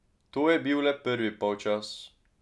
To je bil le prvi polčas.